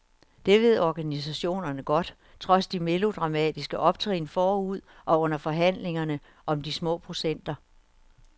Det ved organisationerne godt, trods de melodramatiske optrin forud og under forhandlingerne om de små procenter.